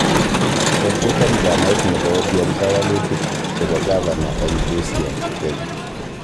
Kofutan chamait nebo ODM kawalutik chebo gavana eng busia Kenya